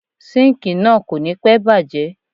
Síńkìì náà kò ní pẹ́ bàjé.